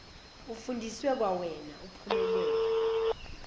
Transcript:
ufundiswe kwawena uphumelele